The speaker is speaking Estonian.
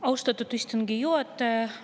Austatud istungi juhataja!